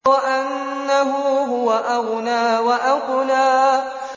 وَأَنَّهُ هُوَ أَغْنَىٰ وَأَقْنَىٰ